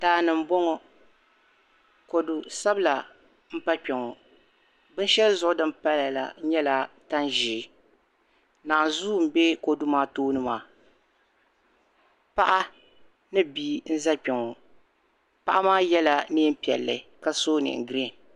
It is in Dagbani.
Daa ni m-bɔŋɔ kɔdu sabila m-pa kpɛŋɔ binshɛli zuɣu di ni paya la nyɛla tan' ʒee naanzua m-be kɔdu maa tooni maa paɣa ni bia n-za kpɛŋ paɣa maa nyɛla neem' piɛlli ka so neen' girin.